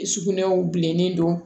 Sugunɛw bilenni don